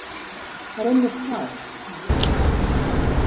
Það er einmitt það, sem gerist með skynsemina.